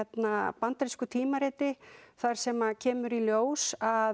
bandarísku tímariti þar sem kemur í ljós að